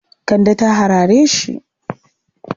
Kande ta harare shi.